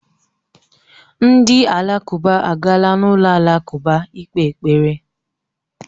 Ndị Alakụba agaala n'ụlọ alakụba ikpe ekpere